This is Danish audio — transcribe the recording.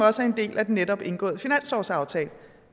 også en del af den netop indgåede finanslovsaftale